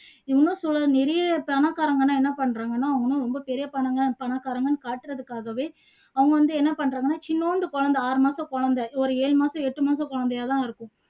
இன்னும் சொல் நிறைய பணக்காரங்க எல்லாம் என்ன பண்றாங்கன்னா அவங்க எல்லாம் ரொம்ப பணக்காரங்கன்னு காட்டுறதுக்காகவே அவங்க வந்து என்ன பண்றதுன்னா சின்னுண்டு குழந்தை ஆறு மாச குழந்தை ஒரு ஏழு மாச எட்டு மாச குழந்தையா தான் இருக்கும்